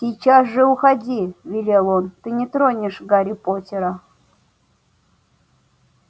сейчас же уходи велел он ты не тронешь гарри поттера